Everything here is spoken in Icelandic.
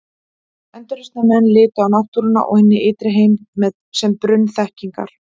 Endurreisnarmenn litu á náttúruna og hinn ytri heim sem brunn þekkingar.